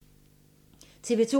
TV 2